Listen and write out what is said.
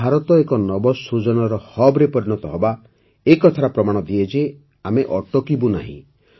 ଭାରତ ଏକ ନବସୃଜନର ହବ୍ରେ ପରିଣତ ହେବା ଏ କଥାର ପ୍ରମାଣ ଦିଏ ଯେ ଆମେ ଅଟକିବୁ ନାହିଁ